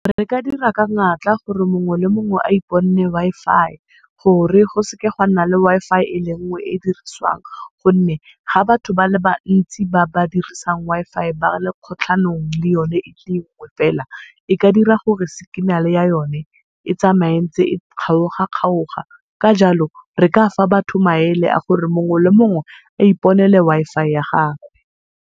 Re ka dira ka natla gore mongwe le mongwe a iponne Wi-Fi gore go seke ga nna le Wi-Fi ele nngwe e diriswang, gonne ga batho ba le bantsi ba ba dirisang Wi-Fi ba le kgotlhanong le yone e le nngwe fela e ka dira gore signal-e ya yone e tsamaye e ntse e kgaoga-kgaoga. Ka jalo re kafa batho maele a gore mongwe le mongwe a iponele Wi-Fi ya gagwe.